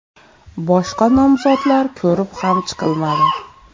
Boshqa nomzodlar ko‘rib ham chiqilmadi.